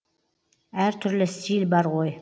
әр түрлі стиль бар ғой